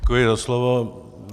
Děkuji za slovo.